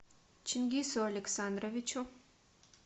чингису александровичу